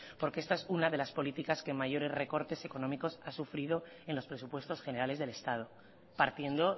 porque esta es una de las políticas que mayores recortes económicos ha sufrido en los presupuestos generales del estado partiendo